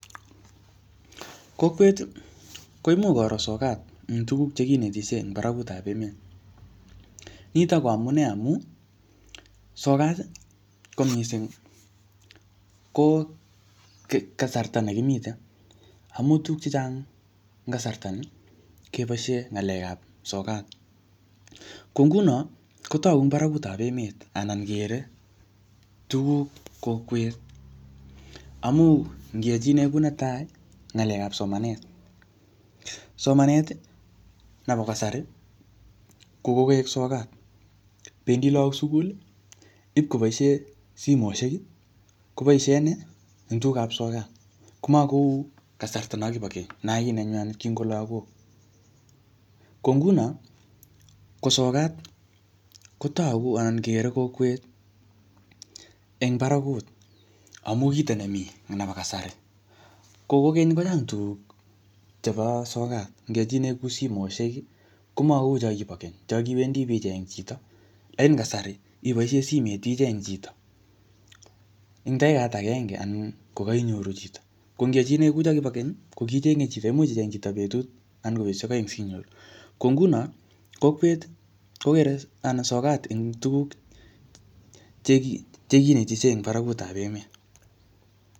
Kokweti koimuch koro sokat tuguk che kinetelishe en barakutab emet nitok koamune amun sokat ko mising ii ko kasarta nekimiten amun tuguk chechaang en kasarta nii keboishen ngalekap sokat kongunon kotoku en barakutab emet anan kere tuguk kokwet amun ngiyochinen kou netai ngalekap somanet somaneti nompo kasari kokoek sokat bendi lagok suguli ipkoboishen simosheki koboishen entugukab sokat komokou kasarta non kipo keny nonkinenywanet kinko lagok kongunon kosokat kotogu anan kere kokwet en barakut amun kito nemi nepo kasari kokokeny kochang tuguk chebo sokat ngechile kou simosheki komokou choon kibo Keny chonkiwendi bi Cheng chito en kasari ipoishen simet icheng ko en dakiket agenge ko koinyoru chito ngokiyochinen kou chonkibo keny kokichenge chii cheimuch icheng chito betut ana kobetushek oeng sinyoru ko ngunon kokere anan sokat tuguk che kinetetishe en barakutab emet